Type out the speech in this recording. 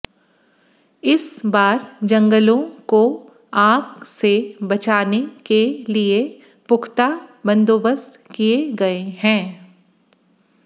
इस बार जंगलों को आग से बचाने के लिए पुख्ता बंदोबस्त किए गए हैं